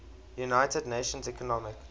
united nations economic